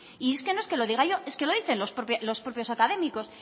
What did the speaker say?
y es que no es que lo diga yo es que lo dicen los propios académicos